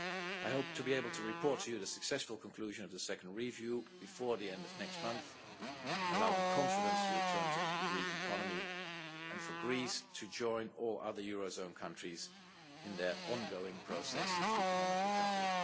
I hope to be able to report to you the successful conclusion of the second review before the end of next month, allowing confidence to return to the Greek economy and for Greece to join all other eurozone countries in their ongoing process of economic recovery.